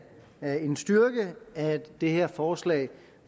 er en styrke at det her forslag